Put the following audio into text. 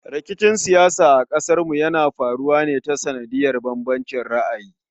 Rikicin siyasa a ƙasarmu yana faruwa ne ta sanadin bambancin ra'ayi